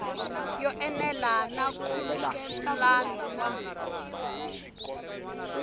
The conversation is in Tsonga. yo enela na nkhulukelano wa